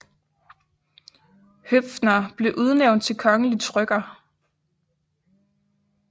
Høpffner blev udnævnt til kongelig trykker